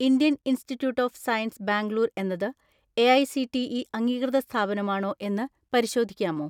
Indian institute of science Bangalore എന്നത് AICTE അംഗീകൃത സ്ഥാപനമാണോ എന്ന് പരിശോധിക്കാമോ?